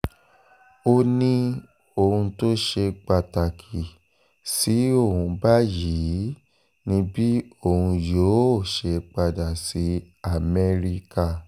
ó ní ohun tó ṣe pàtàkì sí òun báyìí ni bí òun yóò ṣe padà sí amẹ́ríkà